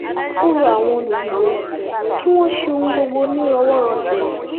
ó rọ àwọn olùdìbò kí wọ́n ṣe ohun gbogbo nírọwọ́rọsẹ̀